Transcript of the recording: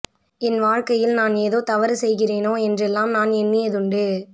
என் வாழ்க்கையில் நான் ஏதோ தவறு செய்கிறேனோ என்றெல்லாம் நான் எண்ணியதுண்டு